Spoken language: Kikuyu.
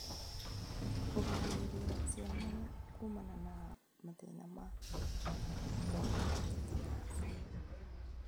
Kũgirĩrĩria ciana kuumana na mathĩna ma kwaga tetenas